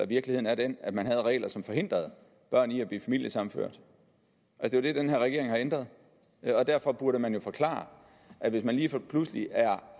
virkeligheden er den at man havde regler som forhindrede børn i at blive familiesammenført og det er det den her regering har ændret og derfor burde man jo forklare at hvis man lige pludselig